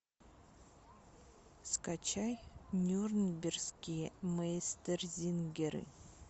скачай нюрнбергские мейстерзингеры